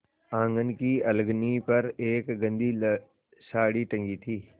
आँगन की अलगनी पर एक गंदी साड़ी टंगी थी